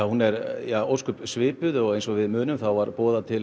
hún er svipuð eins og við munum var boðað til